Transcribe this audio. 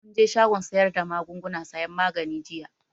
Mun je shagon sayar da magunguna sayan magani jiya